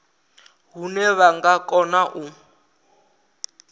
hune vha nga kona u